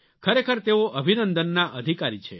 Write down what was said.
ખરેખર તેઓઅભિનંદનના અધિકારી છે